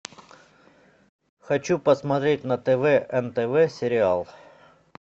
хочу посмотреть на тв нтв сериал